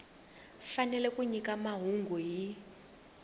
fanele ku nyika mahungu hi